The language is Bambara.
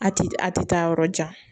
A ti a ti taa yɔrɔ jan